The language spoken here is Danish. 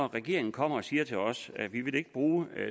regeringen kommer og siger til os at de ikke vil bruge